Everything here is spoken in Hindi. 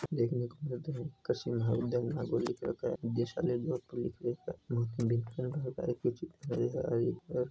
देख ने को मिल रहा है कृषि महाविधालय नागौर लिख रखा है निदेशालय जोधपुर लिख रखा है